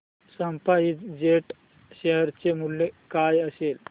spice jet share चे मूल्य काय असेल